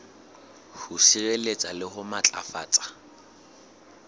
ho sireletsa le ho matlafatsa